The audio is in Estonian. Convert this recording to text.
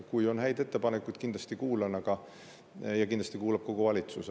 Kui on häid ettepanekuid, siis ma kindlasti neid kuulan ja kindlasti neid kuulab kogu valitsus.